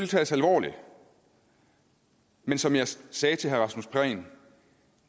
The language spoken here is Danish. tages alvorligt men som jeg sagde til herre rasmus prehn